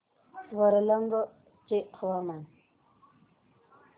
वरंगल चे हवामान